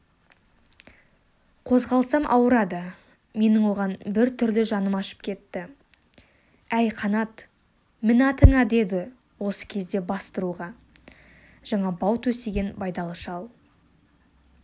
қозғалсам ауырады менің оған бір түрлі жаным ашып кетті әй қанат мін атыңа деді осы кезде бастыруға жаңа бау төсеген байдалы шал